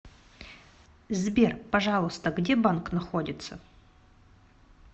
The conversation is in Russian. сбер пожалуйста где банк находится